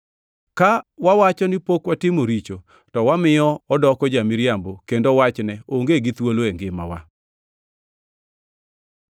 Ka wawacho ni pok watimo richo to wamiyo odoko ja-miriambo kendo wachne onge gi thuolo e ngimawa.